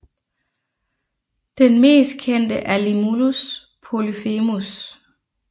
Den mest kendte er Limulus polyphemus